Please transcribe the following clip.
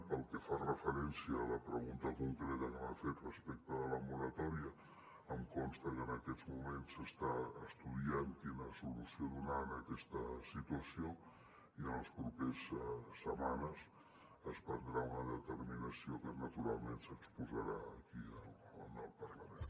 pel que fa referència a la pregunta concreta que m’ha fet respecte a la moratòria em consta que en aquests moments s’està estudiant quina solució donar a aquesta situació i en les properes setmanes es prendrà una determinació que naturalment s’exposarà aquí en el parlament